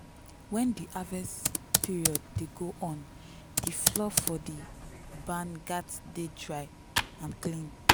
when di harvest period dey go on the floor for the barn gats dey dry and clean.